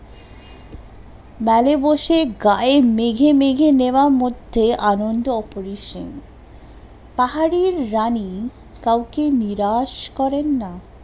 বসে গায়ে মেঘে মেঘে নেওয়ার মধ্যে আনন্দ অপরিছন্ন, পাহাড়ির রানী কাওকে নিরাশ করেন না